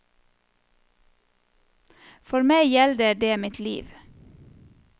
For meg gjelder det mitt liv.